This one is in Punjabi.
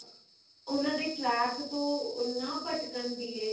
ਉਹਨਾਂ ਦੇ track ਤੋਂ ਨਾਂ ਭਟਕਣ ਦੀਏ